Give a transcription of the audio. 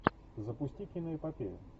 запусти киноэпопею